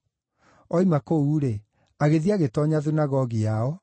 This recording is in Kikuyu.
Oima kũu-rĩ, agĩthiĩ agĩtoonya thunagogi yao,